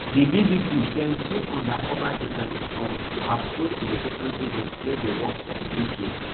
di bbc bin send two undercover journalists um to approach relocation agents wey dey work for di uk